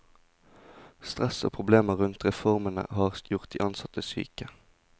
Stress og problemer rundt reformene har gjort de ansatte syke.